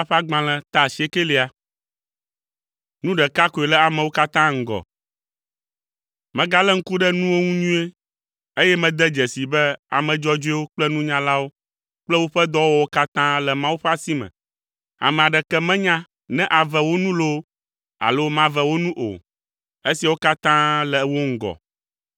Megalé ŋku ɖe nuwo ŋu nyuie, eye mede dzesii be ame dzɔdzɔewo kple nunyalawo kple woƒe dɔwɔwɔwo katã le Mawu ƒe asi me. Ame aɖeke menya ne ave wo nu loo alo mave wo nu o. Esiawo katã le wo ŋgɔ.